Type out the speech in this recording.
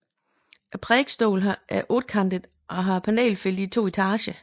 Prædikestolen er ottekantet og har panelfelter i to etager